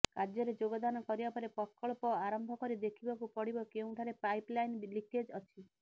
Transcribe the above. କାର୍ଯ୍ୟରେ ଯୋଗଦାନ କରିବା ପରେ ପ୍ରକଳ୍ପ ଆରମ୍ଭ କରି ଦେଖିବାକୁ ପଡିବ କେଉଁଠାରେ ପାଇପ୍ ଲାଇନ୍ ଲିକେଜ୍ ଅଛି